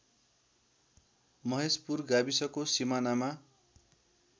महेशपुर गाविसको सिमानामा